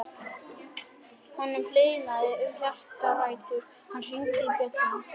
Honum hlýnaði um hjartarætur og hann hringdi bjöllunni.